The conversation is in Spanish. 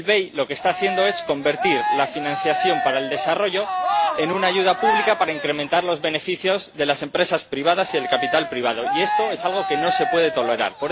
Lo que está haciendo el BEI es convertir la financiación para el desarrollo en una ayuda pública para incrementar los beneficios de las empresas privadas y del capital privado, y esto es algo que no se puede tolerar.